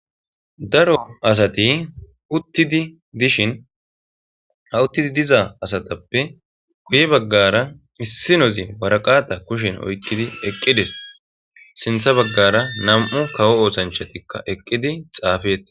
daro asati uttidi dishin ha uttidi diza asatappe guye baggara issi nozi waraqata kushen oykkidi eqqides sintha baggara nam7u kawo ootshanchatikka eqqidi xaafeta